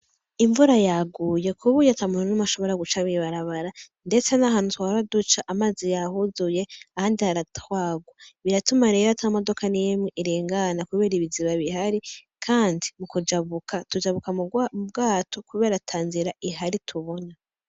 Imvura yaguye kuburyo atamuntu numwe ashobora guca mwibarabara ndetse nahantu twahora duca amazi yahuzuye haratwagwa biratuma rero ata modoka nimwe irengana kubera ibiziba bihari kandi mukujabuka tujabuka mubwato kubera atanzira ihari tubona.